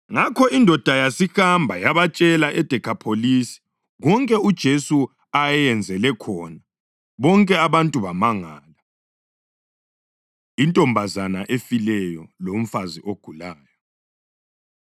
Ngakho indoda yasihamba yabatshela eDekhapholisi konke uJesu ayeyenzele khona. Bonke abantu bamangala. Intombazana Efileyo Lomfazi Ogulayo